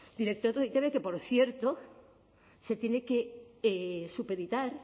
director de e i te be que por cierto se tiene que supeditar